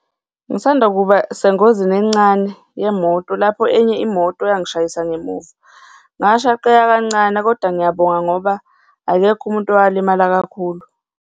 Ngisanda kuba sengozini encane yemoto lapho enye imoto yangishayisa ngemuva. Ngashaqeka kancane kodwa ngiyabonga ngoba akekho umuntu owalimala kakhulu.